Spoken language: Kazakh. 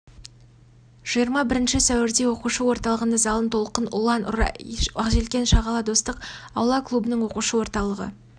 жиырма бірінші сәуірде оқушы орталығында залын толқын ұлан арай ақжелкен шағала достық аула клубының оқушы орталығы